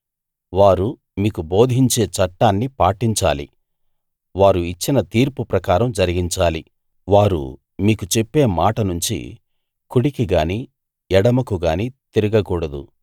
వారు మీకు బోధించే చట్టాన్ని పాటించాలి వారు ఇచ్చిన తీర్పు ప్రకారం జరిగించాలి వారు మీకు చెప్పే మాట నుంచి కుడికిగాని ఎడమకుగాని తిరగకూడదు